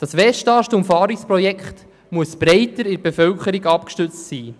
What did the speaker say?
Das Westast-Umfahrungsprojekt muss breiter in der Bevölkerung abgestützt werden.